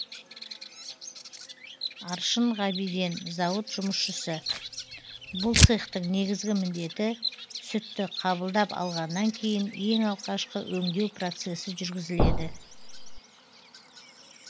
аршын ғабиден зауыт жұмысшысы бұл цехтың негізгі міндеті сүтті қабылдап алғаннан кейін ең алғашқы өңдеу процесі жүргізіледі